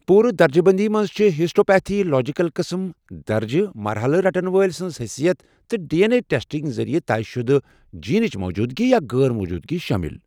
پوٗرٕ درجہٕ بندی منٛز چھِ ہسٹوپیتھولوجیکل قٕسم، درجہٕ، مرحلہٕ، رٹن وٲلۍ سٕنٛز حٔثیت، تہٕ ڈی این اے ٹیسٹنگ ذریعہٕ طے شدٕ جینٕچ موجودٕگی یا غٲر موٗجودٕگی شٲمِل۔